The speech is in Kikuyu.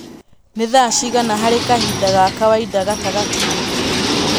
nĩ thaa cigana harĩ kahinda ga kawaida gatagatĩ